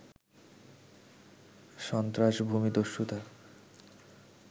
সন্ত্রাস, ভূমিদস্যুতা